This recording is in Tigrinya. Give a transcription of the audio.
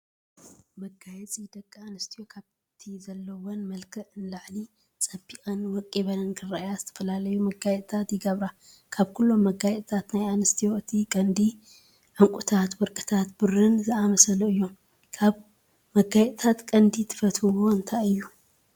መጋየፂ፡- ደቂ ኣንስትዮ ካብቲ ዘለዎን መልክዕ ንላዕሊ ፀቢቐንን ወቂበንን ክረአያ ዝተፈላለዩ መጋየፂታት ይገብራ፡፡ ካብኩሎም መጋየፅታት ናይ ኣንስትዮ እቲ ቀንዲ ዕንቁታት ፣ወርቅን ብሩን ዝኣመሰሉ እዮም፡፡ ካብ መጋፂታት ቀንዲ ትፈትዎኦ እንታይ እዩ?